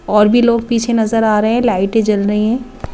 और भी लोग पीछे नजर आ रहे हैं लाइटे जल रही है ।